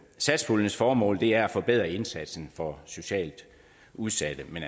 satspuljens formål er at forbedre indsatsen for socialt udsatte men